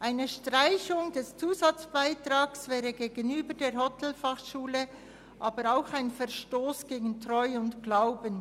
Eine Streichung des Zusatzbeitrags wäre gegenüber der Hotelfachschule Thun auch ein Verstoss gegen Treu und Glauben.